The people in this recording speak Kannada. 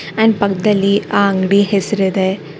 ಅಂಡ್ ಪಕ್ದಲ್ಲಿ ಆ ಅಂಗಡಿ ಹೆಸರಿದೆ.